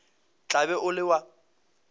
tla be o le wa